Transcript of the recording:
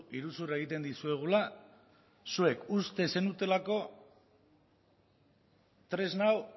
iruzurra egiten dizuegula zuek uste zenutelako tresna hau